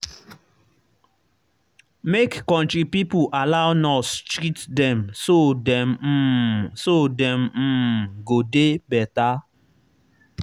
make country pipo allow nurse treat dem so dem um so dem um go dey better